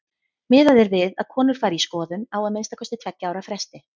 Miðað er við að konur fari í skoðun á að minnsta kosti tveggja ára fresti.